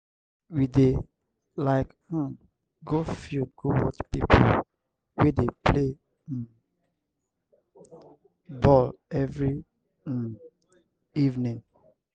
we dey like um go field go watch pipo wey dey play um ball every um evening.